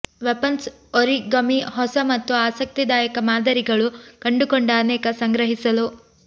weapons origami ಹೊಸ ಮತ್ತು ಆಸಕ್ತಿದಾಯಕ ಮಾದರಿಗಳು ಕಂಡುಕೊಂಡ ಅನೇಕ ಸಂಗ್ರಹಿಸಲು